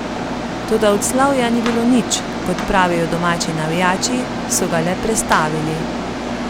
Toda od slavja ni bilo nič, kot pravijo domači navijači, so ga le prestavili.